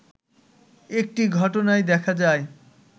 একটি ঘটনায় দেখা যায়